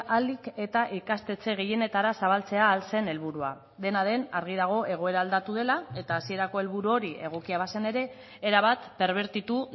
ahalik eta ikastetxe gehienetara zabaltzea ahal zen helburua dena den argi dago egoera aldatu dela eta hasierako helburu hori egokia bazen ere erabat perbertitu